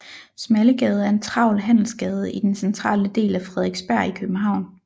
Smallegade er en travl handelsgade i den centrale del af Frederiksberg i København